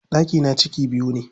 Ɗakina ciki biyu ne.